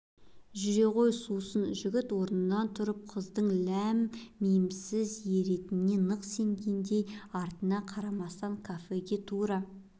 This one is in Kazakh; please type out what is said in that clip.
жүре ғой сусын жігіт орнынан тұрды қыздың ләм-миімсіз еретініне нық сенгендей артына қарайламастан кафеге тура